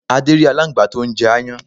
Adé rí alángbá tó n jẹ aáyán